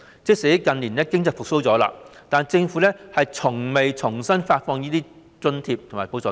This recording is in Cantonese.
即使近年經濟已經復蘇，但政府卻從未重新發放這些津貼和補助金。